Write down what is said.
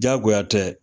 Diyagoya tɛ